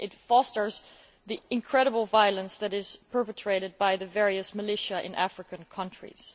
It fosters the incredible violence that is perpetrated by the various militias in African countries.